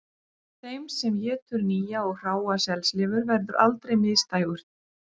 Þeim sem étur nýja og hráa selslifur verður aldrei misdægurt